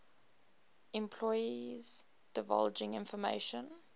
employees divulging information